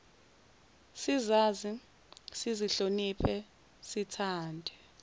sizazi sizihloniphe sithande